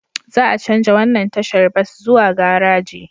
Za a chanja wannan tashar bas zuwa garaji